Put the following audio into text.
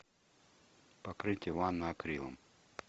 покрытие ванны акрилом